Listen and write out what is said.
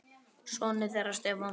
Sonur þeirra Stefán Frosti.